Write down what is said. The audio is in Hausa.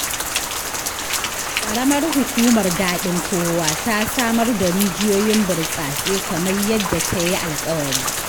Qaramar Hukumar Daɗinkowa ta samar da rijiyoyin burtsatse kamar yadda ta yi alƙawari.